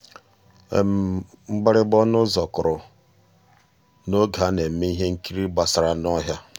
ótú ónyé sonyééré ànyị́ n'àmàghị́ àmá weé sòró ànyị́ gwúó égwu bọ́ọ̀lụ́.